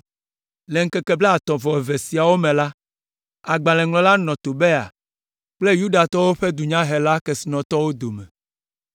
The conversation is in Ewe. Le ŋkeke blaatɔ̃ vɔ eve siawo me la, agbalẽŋɔŋlɔ nɔ Tobia kple Yudatɔwo ƒe dunyahela kesinɔtɔwo dome.